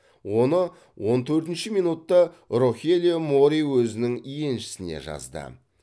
оны он төртінші минутта рохелио мори өзінің еншісіне жазды